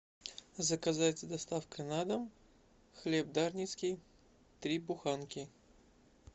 заказать с доставкой на дом хлеб дарницкий три буханки